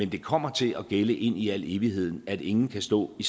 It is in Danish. det kommer til at gælde ind i al evighed at ingen kan stå i